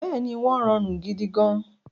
Bẹ́ẹ̀ni, wọ́n rọrùn gidigan